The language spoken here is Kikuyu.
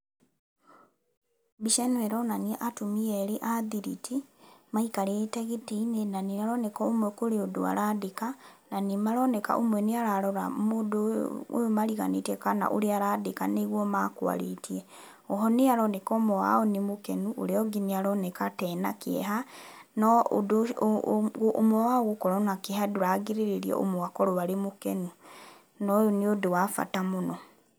Mbica ĩno ĩronania atumia erĩ a ndiriti maikarĩte gĩtĩ-inĩ na nĩmaroneka ũmwe kũrĩ ũndũ arandĩka. Na nĩmaroneka ũmwe nĩararora mũndũ ũyũ mariganĩtie kana ũrĩa arandĩka kana nĩguo makwarĩtie. O ho nĩharoneka ũmwe wao nĩ mũkenu na ũrĩa ũngĩ nĩaroneka ta ena kĩeha. No ũndũ, ũmwe wao gũkorwo na kĩeha ndũragirĩrĩria ũmwe akorwo arĩ mũkenu na ũyũ nĩ ũndũ wa bata mũno.